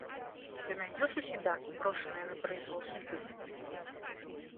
ты найдешь у себя брошенная на произвол судьбы